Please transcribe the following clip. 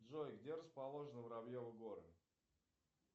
джой где расположены воробьевы горы